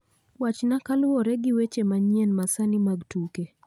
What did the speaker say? Wachna kaluwore gi weche manyien ma sani mag tuke